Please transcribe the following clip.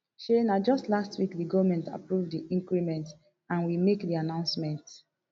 shey na just last week di goment approve di increment and we make di announcement